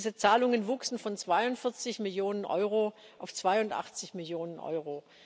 Diese Zahlungen wuchsen von 42 Millionen Euro auf 82 Millionen Euro.